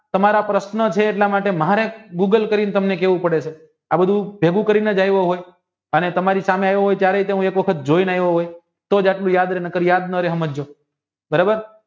તમારા પ્રશ્ન છે એટલે મહાયક દુબઇ કરીને તમને કહેવું પડે છે આ બધું ભેગું કરીને જ આવ્યા હોય અને તમારી સામે ત્યરે પણ જોય ને આવ્યા હોય તોજ આટલું યાદ રે નાકર યાદ નો રે સમજજો બરોબર